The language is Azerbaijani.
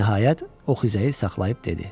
Nəhayət, o xizəyi saxlayıb dedi: